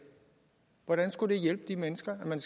hvordan skulle det hjælpe de mennesker at man